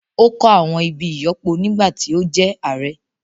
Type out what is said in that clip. Ó kọ́ àwọn ibi ìyọ́pọ nígbà tí ó jẹ́ ààrẹ́